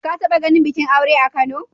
Ka taɓa ganin bikin aure a Kano?